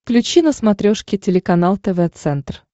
включи на смотрешке телеканал тв центр